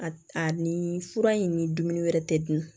A a ni fura in ni dumuni wɛrɛ tɛ dun